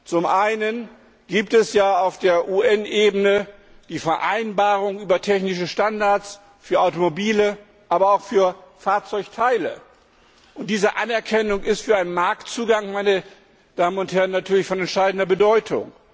Zum einen gibt es ja auf der UN Ebene die Vereinbarung über technische Standards für Automobile, aber auch für Fahrzeugteile. Diese Anerkennung ist für einen Marktzugang natürlich von entscheidender Bedeutung.